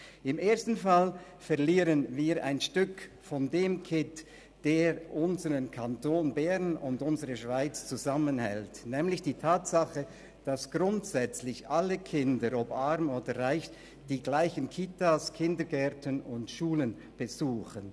Im ersten Fall verlieren wir ein Stück vom Kitt, der unseren Kanton Bern und unsere Schweiz zusammenhält, nämlich die Tatsache, dass grundsätzlich alle Kinder, ob arm oder reich, die gleichen Kitas, Kindergärten und Schulen besuchen.